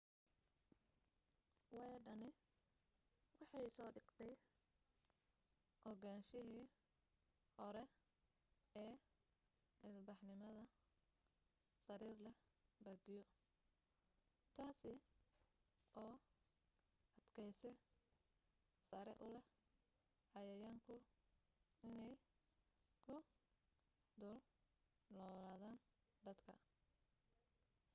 weedhani waxay soo dheegtay ogaanshihii hore ee ilbaxnimada sariir leh baagyo taasi oo adkaysi sare u leh cayayaanku inay ku dul noolaadaan dadka